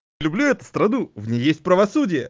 люблю эту страну в ней есть правосудие